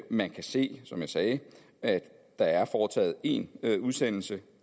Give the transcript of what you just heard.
man kan se som jeg sagde at der er foretaget én udsendelse